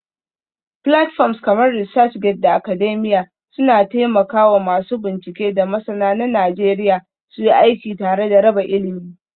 Platforms kamar ResearchGate da Academia suna taimaka wa masu bincike da masana na Najeriya suyi aiki tare da raba ilimi.